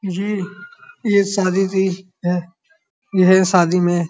ये ये शादी यह शादी में --